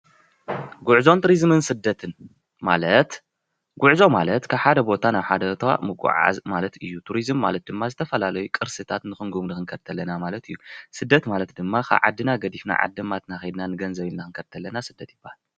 ጉዕዞን ቱሪዝምን ስደትን፦ ጉዕዞ ማለት ካብ ሓደ ቦታ ናብ ሓደ ቦታ ምጉዕዓዝ ማለት እዩ፡፡ ቱሪዝም ማለት ድማ ዝተፈላለዩ ቅርስታት ንኽንጉብኒ ክንከድ ተለና ማለት እዩ፡፡ ስደት ማለት ድማ ካብ ዓድና ገዲፍና ዓዲማትና ከይድና ንገንዘብ ኢልና ክንከድ ተለና ስደት ይብሃል፡፡